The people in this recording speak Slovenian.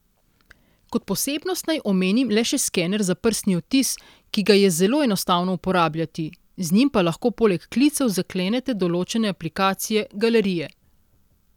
Kot posebnost naj omenim le še skener za prstni odtis, ki ga je zelo enostavno uporabljati, Z njim pa lahko poleg klicev zaklenete določene aplikacije, galerije.